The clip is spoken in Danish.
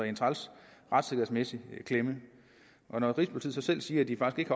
en træls retssikkerhedsmæssig klemme når rigspolitiet så selv siger at de faktisk